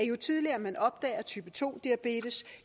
jo tidligere man opdager type to diabetes